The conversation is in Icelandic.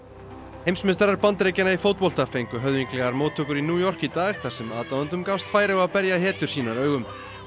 heimsmeistarar Bandaríkjanna í fótbolta fengu höfðinglegar mótttökur í New York í dag þar sem aðdáendum gafst færi á að berja hetjur sínar augum